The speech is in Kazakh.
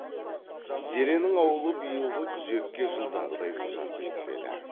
зеренің ауылы биылғы күзекке жылдағыдай ұзап кетпеді